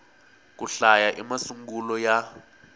ku hlaya i masungulo ya